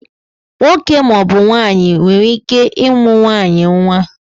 Nwoke maọbụ nwaanyị ike ịmụ nwaanyị nwa